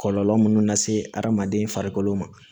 Kɔlɔlɔ minnu lase adamaden farikolo ma